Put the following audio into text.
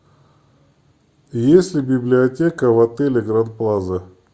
есть ли библиотека в отеле гранд плаза